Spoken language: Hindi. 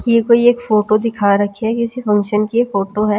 ये कोई एक फोटो दिखा रखी है किसी फंक्शन की फोटो है।